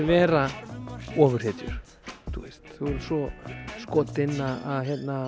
vera ofurhetjur svo skotin að